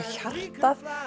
hjartað